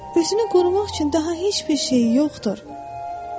Özünü qorumaq üçün daha heç bir şey yoxdur.